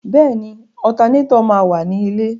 Bẹ́ẹ̀ni, ọtanétọ̀ máa wà ní lẹ̀.